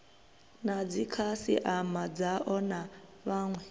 na dzikhasiama dzao na vhawe